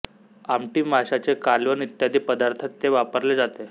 आमटी माशाचे कालवण इत्यादी पदार्थात ते वापरले जाते